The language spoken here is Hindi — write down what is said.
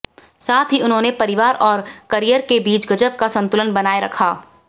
साथ ही उन्होंने परिवार और करियर के बीच गजब का संतुलन बनाए रखा